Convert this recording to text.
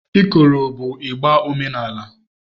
Ikoro bụ ịgbà omenala.